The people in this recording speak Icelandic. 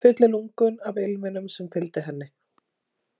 Fylli lungun af ilminum sem fylgdi henni.